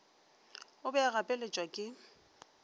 o be a gapeletšwa ke